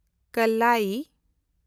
ᱠᱟᱞᱞᱟᱭᱤ